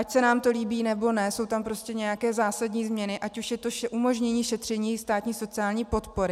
Ať se nám to líbí, nebo ne, jsou tam prostě nějaké zásadní změny, ať už je to umožnění šetření státní sociální podpory.